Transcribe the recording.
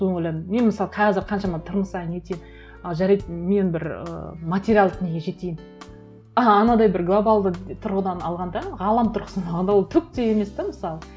содан ойладым мен мысалы қазір қаншама тырмысайын нетейін ы жарайды мен бір ы материалдық неге жетейін а анадай бір глобалды тұрғыдан алғанда ғалам тұрғысынан алғанда ол түк те емес те мысалы